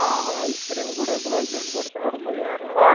அந்த ice cream கூட, குலாப் ஜாமுன் போட்டு, சாப்பிடும்போது, வேற level